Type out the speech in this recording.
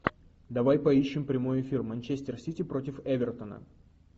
давай поищем прямой эфир манчестер сити против эвертона